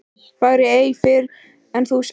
Fagna ei fyrr en þú átt.